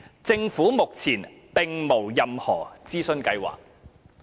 政府目前並無任何諮詢計劃。